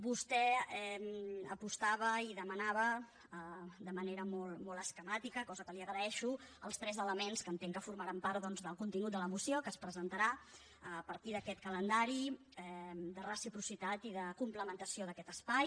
vostè apostava i demanava de manera molt esquemàtica cosa que li ho agraeixo els tres elements que entenc que formaran part doncs del contingut de la moció que es presentarà a partir d’aquest calendari de reciprocitat i de complementació d’aquest espai